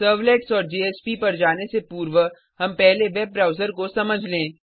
servlets और JSP पर जाने से पूर्व हम पहले वेब ब्राउज़र को समझ लें